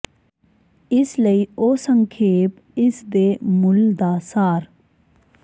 ਇਸ ਲਈ ਉਹ ਸੰਖੇਪ ਇਸ ਦੇ ਮੁੱਲ ਦਾ ਸਾਰ